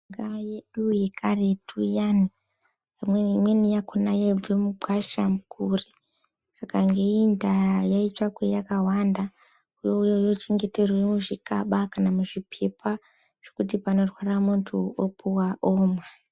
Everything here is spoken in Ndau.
Mishonga yedu yekaretu iyana hino imweni yakona yaibve mugwasha mukuri saka ngeimwe ndaa yaitsvakwa yakawanda youya yochengeterwa muzvikaba kana muzvipepa zvekuti panorwara munthu opuwa omwa.